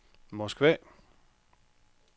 Moskva